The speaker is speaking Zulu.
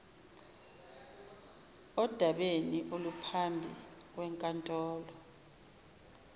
odabeni oluphambi kwenkantolo